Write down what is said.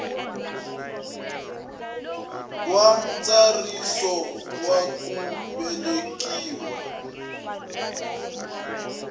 wa ntsariso wa ku velekiwa